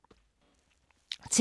TV 2